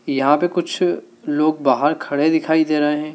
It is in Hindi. यहां पर कुछ लोग बाहर खड़े दिखाई दे रहे--